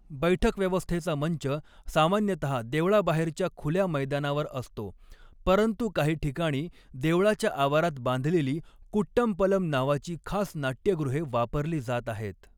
बैठक व्यवस्थेचा मंच सामान्यतहा देवळाबाहेरच्या खुल्या मैदानावर असतो, परंतु काही ठिकाणी देवळाच्या आवारात बांधलेली कुट्टमपलम नावाची खास नाट्यगृहे वापरली जात आहेत.